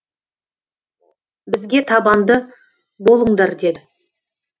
бізге табанды болыңдар деді